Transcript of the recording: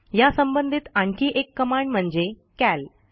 ह्या संबंधीत आणखी एक कमांड म्हणजे कॅल